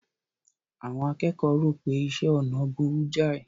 Àwọn akẹ́kọ̀ọ́ rò pé iṣẹ́ ọnà burú jáì.